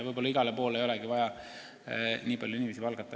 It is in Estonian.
Võib-olla mõnda kohta ei olegi vaja nii palju inimesi palgata.